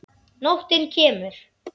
Nóttin kemur.